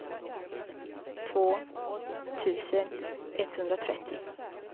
två tusen etthundratrettio